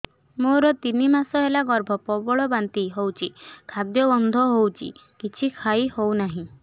ମୋର ତିନି ମାସ ହେଲା ଗର୍ଭ ପ୍ରବଳ ବାନ୍ତି ହଉଚି ଖାଦ୍ୟ ଗନ୍ଧ ହଉଚି କିଛି ଖାଇ ହଉନାହିଁ